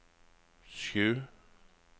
sju